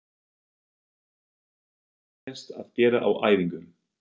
Hvað finnst þér leiðinlegast að gera á æfingu?